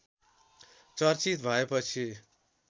चर्चित भएपछि